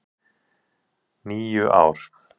. níu ár!